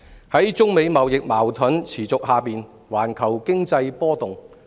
在中美貿易矛盾持續下，環球經濟波動。